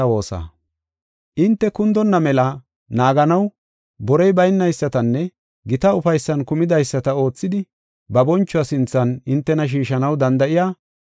Hinte kundonna mela naaganaw borey baynaysatanne gita ufaysan kumidaysata oothidi ba bonchuwa sinthan hintena shiishanaw danda7iya,